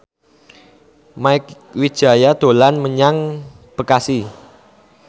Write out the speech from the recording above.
Mieke Wijaya dolan menyang Bekasi